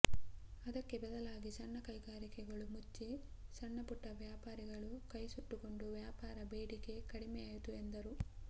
ಅದಕ್ಕೆ ಬದಲಾಗಿ ಸಣ್ಣ ಕೈಗಾರಿಕೆಗಳು ಮುಚ್ಚಿ ಸಣ್ಣಪುಟ್ಟವ್ಯಾಪಾರಿಗಳು ಕೈಸುಟ್ಟುಕೊಂಡು ವ್ಯಾಪಾರ ಬೇಡಿಕೆ ಕಡಿಮೆಯಾಯಿತು ಎಂದರು